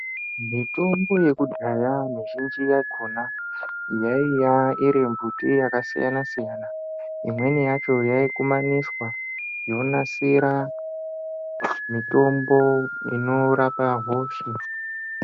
Mitombo yekudhaya mizhinji yakhona, yaiya iri mbuti yakasiyana-siyana. Imweni yacho yaikumaniswa, yonasira mitombo inorapa hosha.